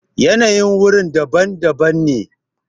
yanayin wuri daban daban ne